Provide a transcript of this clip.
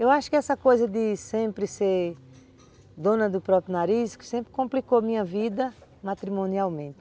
Eu acho que essa coisa de sempre ser dona do próprio nariz, que sempre complicou minha vida matrimonialmente.